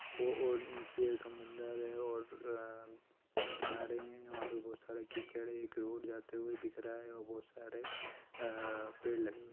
बो और नीचे समुंदर है और अ किनारे हैं वहाँ पे बहोत सारे कीचड़ है। एक रोड जाते हुए दिख रहा है और बहुत सारे अ पेड़ लगे हुए हैं।